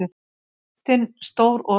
Brjóstin stór og reist.